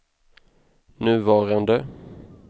nuvarande